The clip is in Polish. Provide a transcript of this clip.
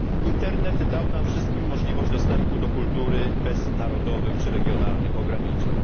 Internet dał nam wszystkim możliwość dostępu do kultury bez narodowych czy regionalnych ograniczeń.